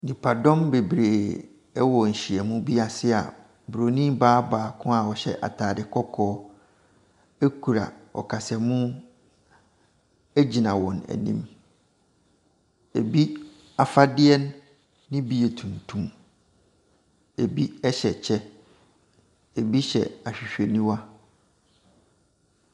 Nnipadɔm bebree wɔ nhyiam bi ase a bronin baa bi ɔhyɛ ataade kɔkɔɔ kura ɔkasamu gyina wɔn anim. Ɛbin afadeɛ bi yɛ tuntum, ɛbi hyɛ kyɛ, bi hyɛ ahwehwɛniwa.